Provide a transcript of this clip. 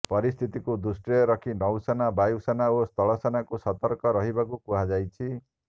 ପରିସ୍ଥିତିକୁ ଦୃଷ୍ଟିରେ ରଖି ନୌ ସେନା ବାୟୁସେନା ଓ ସ୍ଥଳ ସେନାକୁ ସତର୍କ ରହିବାକୁ କୁହାଯାଇଛି